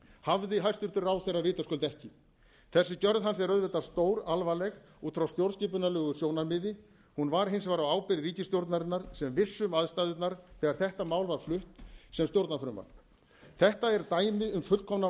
hafði hæstvirtur ráðherra vitaskuld ekki þessi gjörð hans er auðvitað stóralvarleg út frá stjórnarskipunarlegu sjónarmiði hún var hins vegar á ábyrgð ríkisstjórnarinnar sem vissi um aðstæðurnar þegar þetta mál var flutt sem stjórnarfrumvarp þetta er dæmi um fullkomna